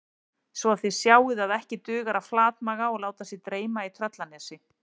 Svo að þið sjáið að ekki dugar að flatmaga og láta sig dreyma í Tröllanesi